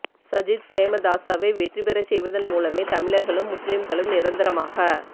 சஜித் பிரேமதாசவை வெற்றி பெறச் செய்வதன் மூலமே தமிழர்களும் முஸ்லிம்களும் நிரந்தரமாக